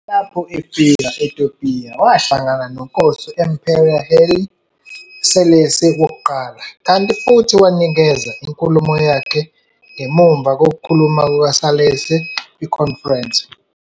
Lapho efika e-Ethiopia, wahlangana noNkosi u-Emperor Haile Selassie I, kanti futhi wanikeza inkulumo yakhe ngemuva kokukhuluma kuka-Selassie kwikhonferense.